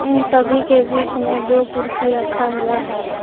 इन सभी के बीच में दो कुर्सी रखा हुआ है।